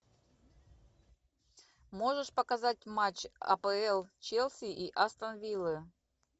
можешь показать матч апл челси и астон виллы